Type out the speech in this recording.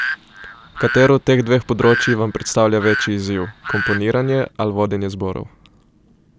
Katero od teh dveh področij vam predstavlja večji izziv, komponiranje ali vodenje zborov?